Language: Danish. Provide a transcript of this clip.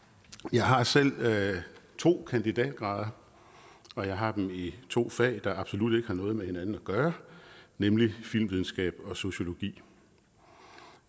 jeg har selv to kandidatgrader og jeg har dem i to fag der absolut ikke har noget med hinanden at gøre nemlig filmvidenskab og sociologi